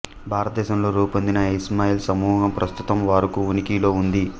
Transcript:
భరతదేశంలో రూపొందిన ఇస్మాయిల్ సమూహం ప్రస్తుతం వరకు ఉనికిలో ఉంది